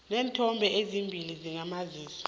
neenthombe ezimbili zakamazisi